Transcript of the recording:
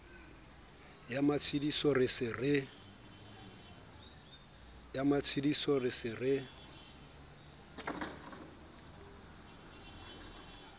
ya matshediso re se re